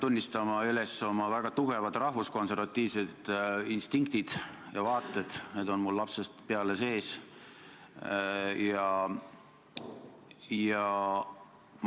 Riigikokku on menetlusse tulemas raudteeseadus, eesmärk on menetleda seda uue aasta alguses ja jõustuma peaks see järgmise aasta 16. juunil.